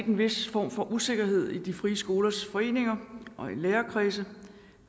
en vis form for usikkerhed i de frie skolers foreninger og lærerkredse